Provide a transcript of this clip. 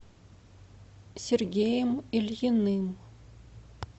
сергеем ильиным